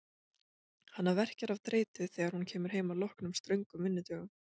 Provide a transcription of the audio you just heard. Hana verkjar af þreytu þegar hún kemur heim að loknum ströngum vinnudögum.